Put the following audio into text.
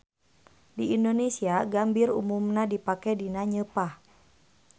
Di Indonesia gambir umumna dipake dina nyeupah.